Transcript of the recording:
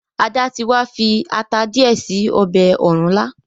Ada tí wá fi atá diẹ sí ọbẹ òrúnlá.